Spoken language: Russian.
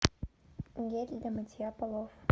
гель для мытья полов